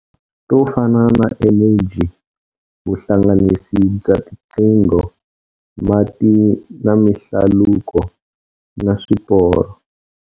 To fana na eneji, vuhlanganisi bya tiqingho, mati na mihlaluko na swiporo.